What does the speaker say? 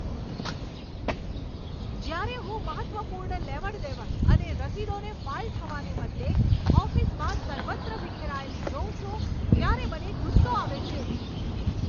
જ્યારે હું મહત્ત્વપૂર્ણ લેવડ દેવડ અને રસીદોને ફાઈલ થવાને બદલે ઓફિસમાં સર્વત્ર વિખેરાયેલી જોઉં છું ત્યારે મને ગુસ્સો આવે છે.